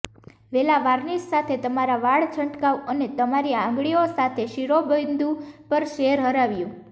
વેલા વાર્નિશ સાથે તમારા વાળ છંટકાવ અને તમારી આંગળીઓ સાથે શિરોબિંદુ પર સેર હરાવ્યું